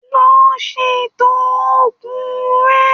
Lọ ṣètò oògùn rẹ